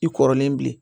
I kɔrɔlen bilen